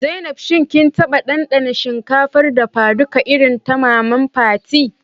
Zainab, shin kin taba dandana shinkafar dafaduka irin ta maman Fatima?